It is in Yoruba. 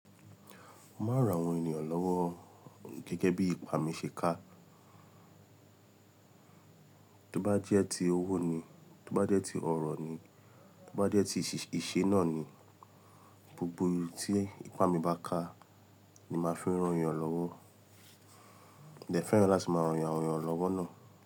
Mo máa ran àwọn ènìyàn lọ́wọ́ gẹ́gẹ́ bí ipá mi ṣe ká. Tí ó bá jẹ́ ti owó ni, tí ó bá jẹ́ ti ọ̀rọ̀ ni, tí ó bá jẹ́ ti ìṣe sise náà ni, gbogbo tí ipá mi bá ká ni màá fi ń ran ènìyàn lọ́wọ́. Mo dẹ fẹ́ràn láti máa rán àwọn ènìyàn lọ́wọ́ náà.